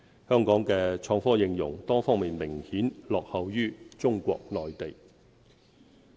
香港的創科應用，多方面明顯落後於中國內地。